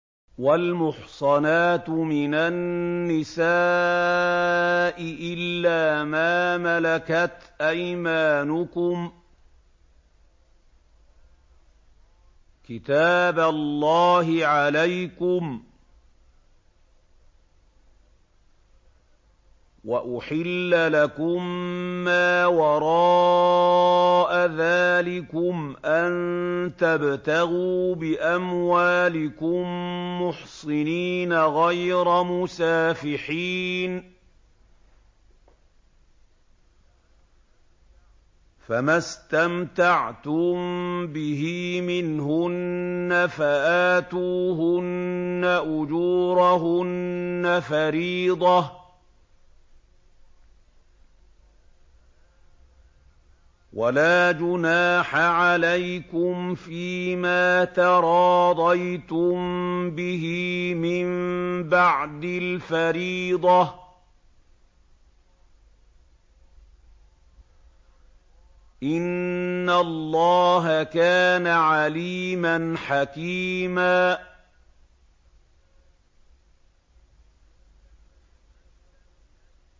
۞ وَالْمُحْصَنَاتُ مِنَ النِّسَاءِ إِلَّا مَا مَلَكَتْ أَيْمَانُكُمْ ۖ كِتَابَ اللَّهِ عَلَيْكُمْ ۚ وَأُحِلَّ لَكُم مَّا وَرَاءَ ذَٰلِكُمْ أَن تَبْتَغُوا بِأَمْوَالِكُم مُّحْصِنِينَ غَيْرَ مُسَافِحِينَ ۚ فَمَا اسْتَمْتَعْتُم بِهِ مِنْهُنَّ فَآتُوهُنَّ أُجُورَهُنَّ فَرِيضَةً ۚ وَلَا جُنَاحَ عَلَيْكُمْ فِيمَا تَرَاضَيْتُم بِهِ مِن بَعْدِ الْفَرِيضَةِ ۚ إِنَّ اللَّهَ كَانَ عَلِيمًا حَكِيمًا